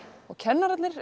og kennararnir